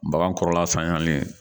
Bagan kɔrɔla saniyali